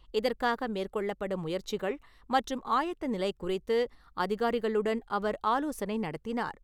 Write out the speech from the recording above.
இதற்காக மேற்கொள்ளப்படும் முயற்சிகள் மற்றும் ஆயத்த நிலைகுறித்து, அதிகாரிகளுடன் அவர் ஆலோசனைநடத்தினார் .